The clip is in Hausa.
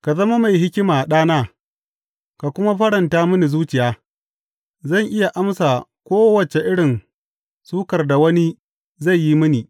Ka zama mai hikima, ɗana, ka kuma faranta mini zuciya; zan iya amsa kowace irin suƙar da wani zai yi mini.